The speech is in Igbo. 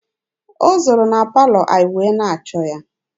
O zooro na palọ anyị wee na-achọ ya.